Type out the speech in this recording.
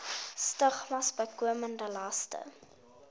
stigmas bykomende laste